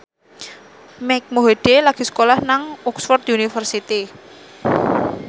Mike Mohede lagi sekolah nang Oxford university